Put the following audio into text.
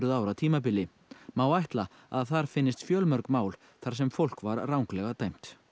ára tímabili má ætla að þar finnist fjölmörg mál þar sem fólk var ranglega dæmt